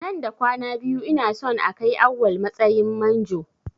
Nan da kwana biyu ina son a kai Awwal matsayin manjo.